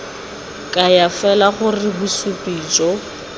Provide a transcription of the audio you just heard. kaya fela gore bosupi jo